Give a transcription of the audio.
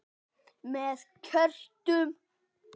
Með kertum?